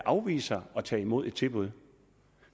afvise at tage imod et tilbud